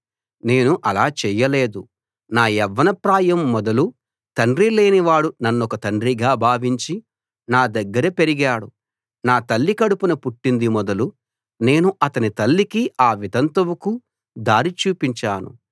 నేను అలా చేయలేదు నా యవ్వనప్రాయం మొదలు తండ్రి లేనివాడు నన్నొక తండ్రిగా భావించి నా దగ్గర పెరిగాడు నా తల్లి కడుపున పుట్టింది మొదలు నేను అతని తల్లికి ఆ వితంతువుకు దారి చూపించాను